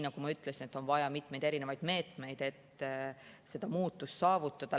Nagu ma ütlesin, on vaja erinevaid meetmeid, et muutust saavutada.